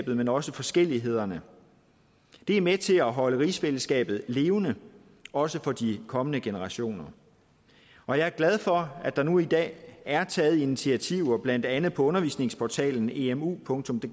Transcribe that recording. men også forskellighederne det er med til at holde rigsfællesskabet levende også for de kommende generationer og jeg er glad for at der nu i dag er taget initiativer blandt andet på undervisningsportalen emudk og